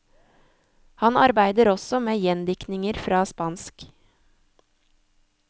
Han arbeider også med gjendiktninger fra spansk.